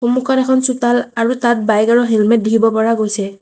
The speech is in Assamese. সন্মুখত এখন চোতাল আৰু তাত বাইক আৰু হেলমেট দেখিব পৰা গৈছে।